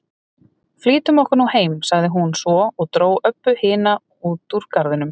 Flýtum okkur nú heim, sagði hún svo og dró Öbbu hina út úr garðinum.